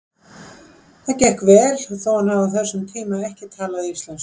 Það gekk vel þó hann hafi á þessum tíma ekki talað íslensku.